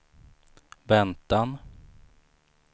väntan